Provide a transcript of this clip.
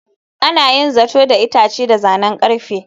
Ana yin zato da itace da zanen ƙarfe.